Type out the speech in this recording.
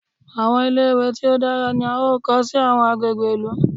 Àwọn ilé-ìwé tí ó dára ni a ó kọ́ sí àwọn agbègbè ìlú.